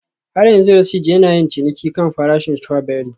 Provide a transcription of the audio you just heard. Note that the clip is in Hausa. Har yanzu Rasheed yana yin ciniki kan farashin strawberry